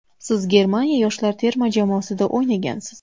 Siz Germaniya yoshlar terma jamoasida o‘ynagansiz.